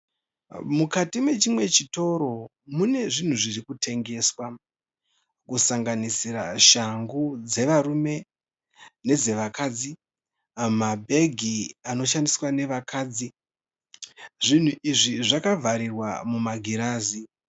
Mukati mechimwe chitoro munezvinhu zviri kutengeswa, kusanganisira shangu dzevarume nedzevakadzi, mabhegi anoshandiswa nevakadzi. Zvinhu izvi zvakavharirwa mumagirazi.